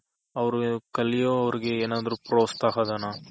ಅವ್ರ್ ಕಲ್ಯೋರ್ಗೆ ಏನಾದ್ರೂ ಪ್ರೋತ್ಸಾಹ ಧನ